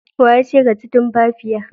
Wa yace ka ci tumfafiya?